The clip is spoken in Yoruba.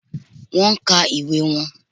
Wón nka ìwé won